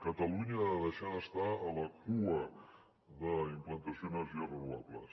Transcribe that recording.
catalunya ha de deixar d’estar a la cua en la implantació d’energies renovables